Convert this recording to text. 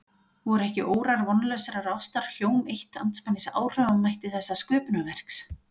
Voru ekki órar vonlausrar ástar hjóm eitt andspænis áhrifamætti þessa sköpunarverks?